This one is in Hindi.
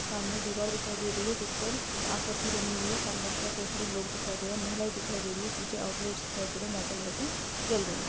सामने दीवार दिखाई दे रही है जीसपर आकृती बनी हुई है सामने लोग दिखाई दे रहे है महिलाये दिखाई दे रही है पीचे आऊट लेट्स दिखाई दे रही है जहा पे लाइटे जल रही है।